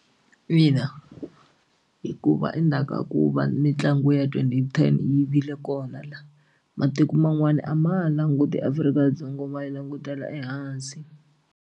Ina, hikuva endzhaku ka ku va mitlangu ya twenty ten yi vile kona laha matiko man'wana a ma ha languti Afrika-Dzonga ma yi langutela ehansi.